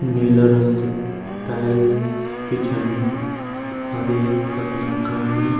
नीला रंग की टाइल बिछायीं और एक तख मकान।